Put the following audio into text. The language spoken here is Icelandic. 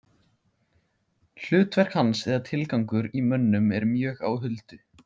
Hlutverk hans eða tilgangur í mönnum er mjög á huldu.